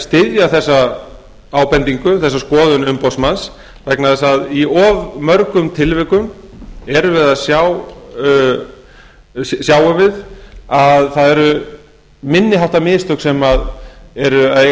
styðja þessa ábendingu þessa skoðun umboðsmanns vegna þess í mörgum tilvikum sjáum við að það eru minniháttar mistök sem eru að eiga